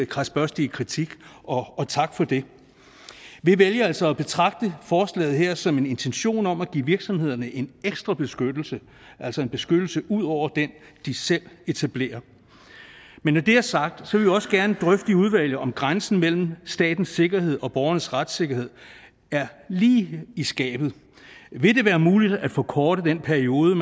kradsbørstige kritik og tak for det vi vælger altså at betragte forslaget her som en intention om at give virksomhederne en ekstra beskyttelse altså en beskyttelse ud over den de selv etablerer men når det er sagt vil også gerne drøfte i udvalget om grænsen mellem statens sikkerhed og borgernes retssikkerhed er lige i skabet vil det være muligt at forkorte den periode